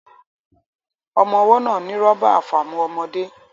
Ọmọ́ ọwọ́ náà ní rọ́bà àfàmu ọmọde